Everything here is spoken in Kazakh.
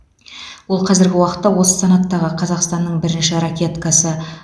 ол қазіргі уақытта осы санаттағы қазақстанның бірінші ракеткасы